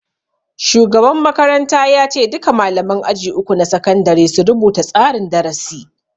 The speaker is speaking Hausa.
Shugaban makaranta ya ce duka malaman aji uku na sakandare su rubuta tsarin darasi